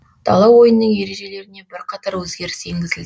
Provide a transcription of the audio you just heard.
дала ойынының ережелеріне бірқатар өзгеріс енгізілді